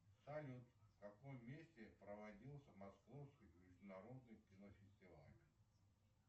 салют в каком месте проводился московский международный кинофестиваль